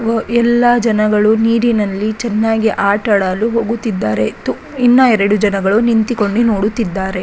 ಎಲ್ಲ ಜನಗಳು ನೀರಿನಲ್ಲಿ ಚೆನ್ನಾಗಿ ಆಟಾಡಲು ಹೋಗುತ್ತಿದ್ದಾರೆ ಇನ್ನಾ ಎರಡು ಜನಗಳು ನಿಂತಿಕೊಂಡು ನೋಡುತ್ತಿದ್ದಾರೆ.